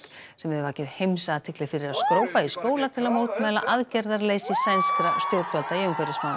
sem hefur vakið heimsathygli fyrir að skrópa í skóla til að mótmæla aðgerðarleysi sænskra stjórnvalda í umhverfismálum